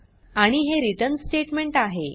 आणि हे return statement आहे